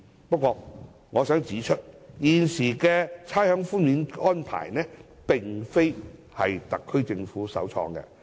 不過，我想指出，現行的差餉寬免安排並非特區政府首創。